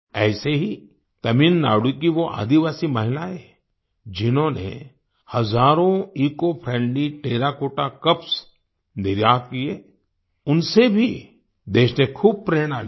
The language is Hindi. ऐसे ही तमिलनाडु की वो आदिवासी महिलाएं जिन्होंने हज़ारों eco friendly terracotta cups terracotta cups निर्यात किए उनसे भी देश ने खूब प्रेरणा ली